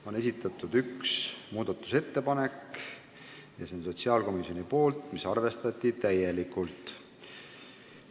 On esitatud üks muudatusettepanek, see on sotsiaalkomisjonilt ja seda arvestati täielikult.